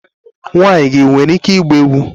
Nwa gị nwanyị nwere ike ịgba egwu?